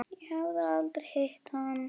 Ég hafði aldrei hitt hann.